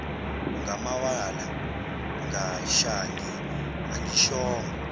ngamawala shange angishongo